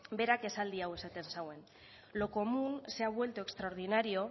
berak esaldi hau esaten zuen lo común se han vuelto extraordinario